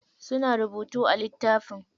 Suna rubutu a littafin.